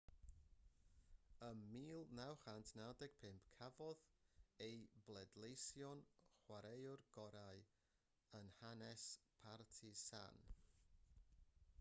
ym 1995 cafodd ei bleidleisio'n chwaraewr gorau yn hanes partizan